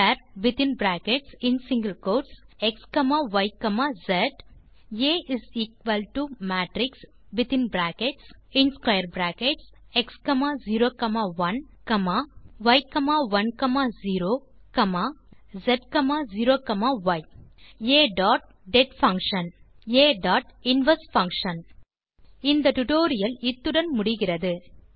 varxyஸ் ஆ matrixx01y10z0ய்பின் மூன்றாவது லைன் இல் நீங்கள் டைப் செய்யலாம் ஆ டாட் டெட் பங்ஷன் மற்றும் அடுத்த லைன் நீங்கள் டைப் செய்யலாம் ஆ டாட் இன்வெர்ஸ் பங்ஷன் இத்துடன் இந்த டுடோரியல் முடிகிறது